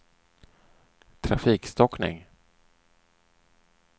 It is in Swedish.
trafikstockning